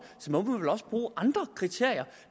må man vel også bruge andre kriterier